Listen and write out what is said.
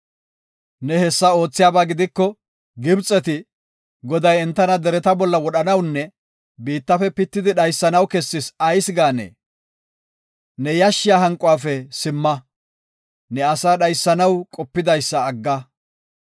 Ne hessa oothiyaba gidiko, Gibxeti, ‘Goday entana dereta bolla wodhanawunne biittafe pittidi dhaysanaw kessis’ ayis gaanee? Ne yashshiya hanquwafe simma. Ne asaa dhaysanaw qopidaysa agga.